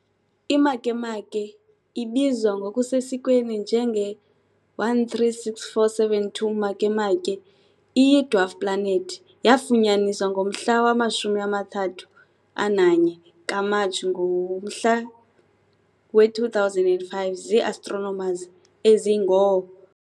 I-Makemake, ibizwa ngokusesikweni njenge-136472 Makemake, iyi-dwarf planet. Yaafunyaniswa ngomhla wama-31 kaMatshi ngo-2005 zii-astronomers ezingoo.